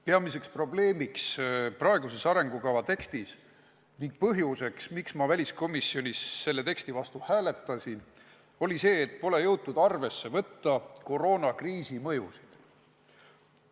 Peamine probleem praeguses arengukava tekstis ning põhjus, miks ma väliskomisjonis selle teksti vastu hääletasin, on see, et pole jõutud arvesse võtta koroonakriisi mõjusid.